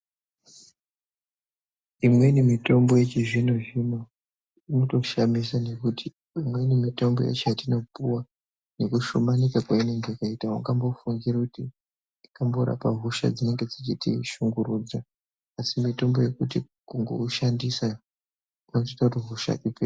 Imweni mitombo yechizvino zvino inotoshamisa ngekuti imweni mitombo yacho yetinopiwa nekushomanika kweinenge yakaita aungambofungiri kuti ingamborapanhosha dzinenge dzIchitishungurudaa asi mutombo yekuti kungoushandisa kwazvotoita kuti hosha dzipe.